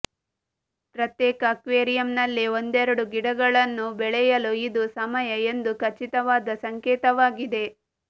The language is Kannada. ಪ್ರತ್ಯೇಕ ಅಕ್ವೇರಿಯಂನಲ್ಲಿ ಒಂದೆರಡು ಗಿಡಗಳನ್ನು ಬೆಳೆಯಲು ಇದು ಸಮಯ ಎಂದು ಖಚಿತವಾದ ಸಂಕೇತವಾಗಿದೆ